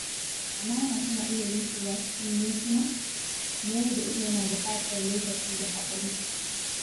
Amana tana iya rushewa cikin mintuna, mayar da ita yana buƙatar lokaci da haƙuri.